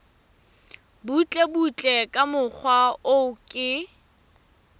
butlebutle ka mokgwa o ke